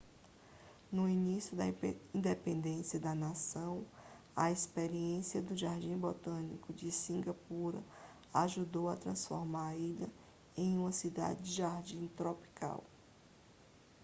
no início da independência da nação a experiência do jardim botânico de cingapura ajudou a transformar a ilha em uma cidade-jardim tropical